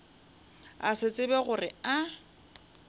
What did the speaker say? a se tsebe gore a